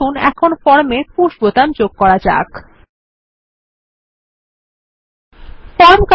এখন আমরা আমাদের ফর্ম এ পুশ বোতাম যোগ করতে প্রস্তুত